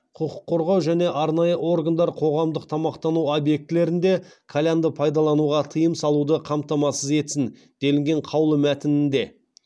құқық қорғау және арнайы органдар қоғамдық тамақтану объектілерінде кальянды пайдалануға тыйым салуды қамтамасыз етсін делінген қаулы мәтінінде